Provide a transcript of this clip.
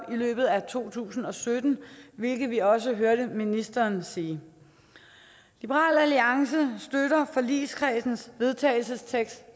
løbet af to tusind og sytten hvilket vi også hørte ministeren sige liberal alliance støtter forligskredsens forslag vedtagelse